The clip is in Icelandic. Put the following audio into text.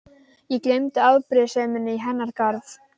Ég gleymdi afbrýðiseminni í hennar garð.